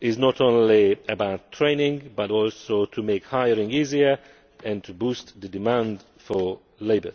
is not only about training but also to make hiring easier and to boost the demand for labour.